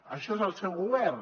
això és el seu govern